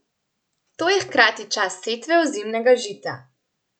To je hkrati čas setve ozimnega žita.